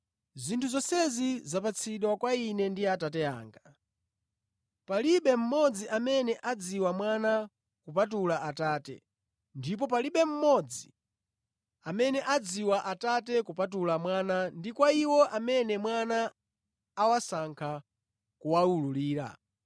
“Zinthu zonse zapatsidwa kwa Ine ndi Atate anga. Palibe mmodzi amene adziwa Mwana kupatula Atate ndipo palibe mmodzi amene adziwa Atate kupatula Mwana ndi kwa iwo amene Mwana awasankha kuwawululira.